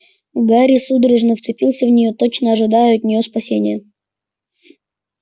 гарри судорожно вцепился в нее точно ожидая от нее спасения